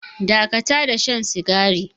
Dakata da shan sigari.